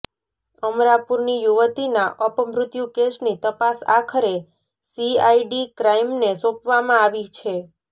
અમરાપુરની યુવતીના અપમૃત્યુ કેસની તપાસ આખરે સીઆઈડી ક્રાઈમને સોંપવામાં આવી છે